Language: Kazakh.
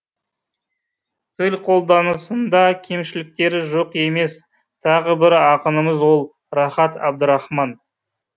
тіл қолданысында кемшіліктері жоқ емес тағы бір ақынымыз ол рахат әбдірахман